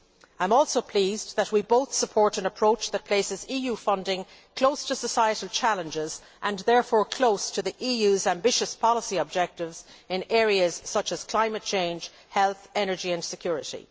I am also pleased that we both support an approach that places EU funding close to societal challenges and therefore close to the EU's ambitious policy objectives in areas such as climate change, health, energy and security.